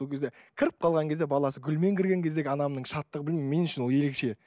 сол кезде кіріп қалған кезде баласы гүлмен кірген кездегі анамның шаттығы білмеймін мен үшін ол ерекше